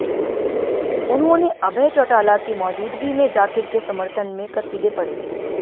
उन्होंने अभय चौटाला की मौजूदगी में जाकिर के समर्थन में कसीदे पढ़े